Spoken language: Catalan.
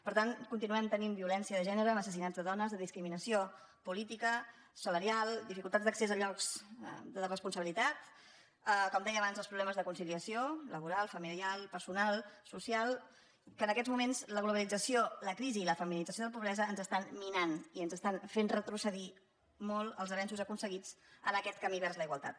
per tant continuem tenint violència de gènere amb assas·sinats de dones de discriminació política salarial di·ficultats d’accés a llocs de responsabilitat com deia abans els problemes de conciliació laboral familiar personal social que en aquests moments la globalit·zació la crisi i la feminització de la pobresa ens es·tan minant i ens estan fent retrocedir molt els avenços aconseguits en aquest camí vers la igualtat